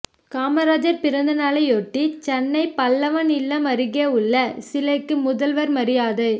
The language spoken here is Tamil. காமராஜர் பிறந்த நாளையொட்டி சென்னை பல்லவன் இல்லம் அருகே உள்ள சிலைக்கு முதல்வர் மரியாதை